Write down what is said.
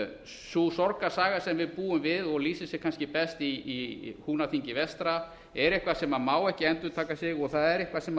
sú sorgarsaga sem við búum við sé kannski best í húnaþingi vestra er eitthvað sem má ekki endurtaka sig og það er eitthvað þarf ekki